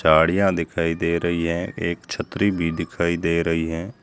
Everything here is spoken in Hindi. साड़ियां दिखाई दे रही है एक छत्री भी दिखाई दे रही है।